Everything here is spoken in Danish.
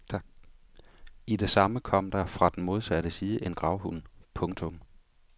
I det samme kom der fra den modsatte side en gravhund. punktum